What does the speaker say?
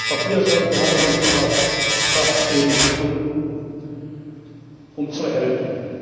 Auch hier sollten wir alles in unserer Kraft Stehende tun, um zu helfen.